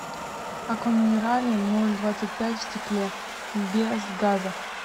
аква минерале ноль двадцать пять в стекле без газа